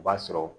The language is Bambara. O b'a sɔrɔ